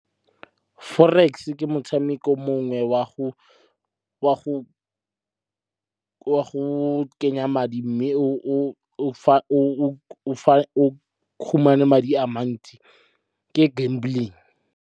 Forex ke motshameko mongwe wa go kenya madi mme o fumane madi a mantsi, ke gambling.